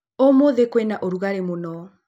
Ũmũthĩ kwĩna ũrugarĩ mũno.